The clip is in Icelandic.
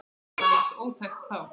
Það var nánast óþekkt þá.